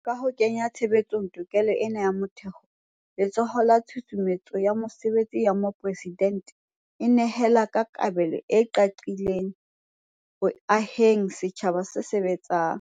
Ka ho kenya tshebetsong tokelo ena ya motheo, Letsholo la Tshusumetso ya Mesebetsi ya Mopresidente e nehela ka kabelo e qaqileng ho aheng setjhaba se sebetsang.